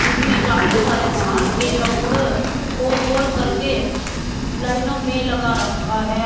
इसमें काफी सारे थान के कपड़े को रोल करके लाइनों में लगा रखा है।